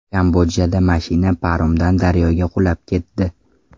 Kambodjada mashina paromdan daryoga qulab ketdi.